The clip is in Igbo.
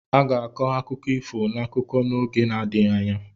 A ga-akọ akụkọ ifo n'akụkọ n'oge na-adịghị anya.